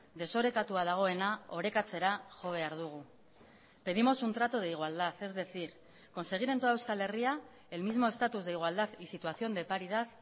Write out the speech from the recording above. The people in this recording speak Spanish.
desorekatua dagoena orekatzera jo behar dugu pedimos un trato de igualdad es decir conseguir en toda euskal herria el mismo estatus de igualdad y situación de paridad